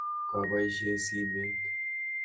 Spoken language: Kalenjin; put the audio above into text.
Kabaishe simet.